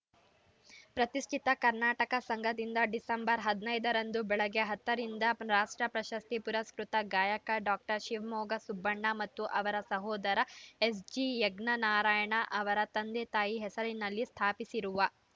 ಪ್ರತಿಷ್ಠಿತ ಕರ್ನಾಟಕ ಸಂಘದಿಂದ ಡಿಸೆಂಬರ್ ಹದಿನೈದ ರಂದು ಬೆಳಗ್ಗೆ ಹತ್ತ ರಿಂದ ರಾಷ್ಟ್ರ ಪ್ರಶಸ್ತಿ ಪುರಸ್ಕೃತ ಗಾಯಕ ಡಾಕ್ಟರ್ ಶಿವಮೊಗ್ಗ ಸುಬ್ಬಣ್ಣ ಮತ್ತು ಅವರ ಸಹೋದರ ಎಸ್‌ಜಿ ಯಜ್ಞನಾರಾಯಣ ಅವರ ತಂದೆ ತಾಯಿ ಹೆಸರಿನಲ್ಲಿ ಸ್ಥಾಪಿಸಿರುವ